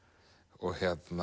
og